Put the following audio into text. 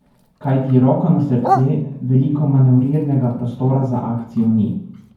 Kajti, roko na srce, veliko manevrirnega prostora za akcijo ni.